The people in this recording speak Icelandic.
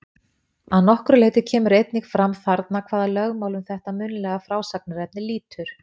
Að nokkru leyti kemur einnig fram þarna hvaða lögmálum þetta munnlega frásagnarefni lýtur.